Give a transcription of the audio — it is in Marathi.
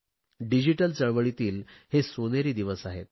डिजिटल चळवळीतील हे सोनेरी दिवस आहेत